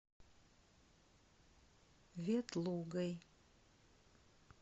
ветлугой